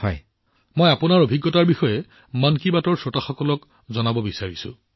প্ৰধানমন্ত্ৰীঃ মই আপোনাৰ অভিজ্ঞতা মন কী বাতৰ শ্ৰোতাসকলৰ সৈতে ভাগ বতৰা কৰিব বিচাৰো